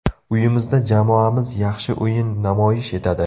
Uyimizda jamoamiz yaxshi o‘yin namoyish etadi.